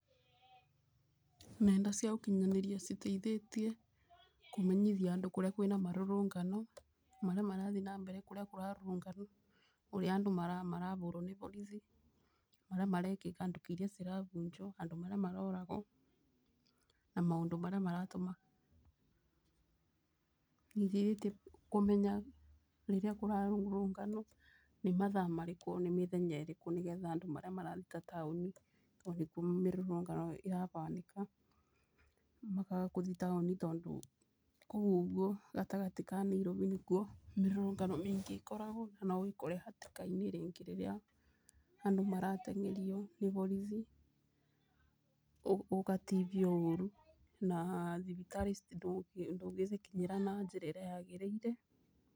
Nenda cia ũkinyanĩria citeithĩtie kũmenyithia andũ kũrĩa kwĩna morũrũngano marĩa marathiĩ na mbere. Kũrĩa kũrarũrũnganwo ũrĩa andũ marabũrwo nĩ borithi marĩa marekĩka nduka iria cirabunjwo, andũ marĩa maroragwo na maũndũ marĩa maratũma. Nĩ iteithĩtie kũmenya rĩrĩa kũrarũrũnganwo nĩ mathaa marĩkũ nĩ mĩthenya ĩrĩkũ nĩ getha andũ marĩa mararuta taũni tondũ nĩkuo mĩrũrũngano ĩrabanĩka makaga kũthi taũni, tondũ kũu ũguo gatagatĩ ka Nairobi nĩkuo mĩrũrũngano mĩingĩ ĩkoragwo. Na no wĩkore hatĩka-inĩ rĩngĩ rĩrĩa andũ marateng'erio nĩ borithi, ũgatibio ũru na thibitarĩ ndũngĩcikinyĩra na njĩra ĩrĩa ya gĩrĩire.